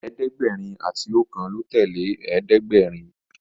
ẹ̀ẹ́dẹ̀gbẹ̀rin àti okan ló tẹlẹ ẹ̀ẹ́dẹ̀gbẹ̀rin.